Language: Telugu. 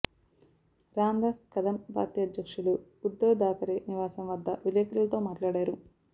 రాందాస్ కదమ్ పార్టీ అధ్యక్షులు ఉద్దవ్ థాకరే నివాసం వద్ద విలేకరులతో మాట్లాడారు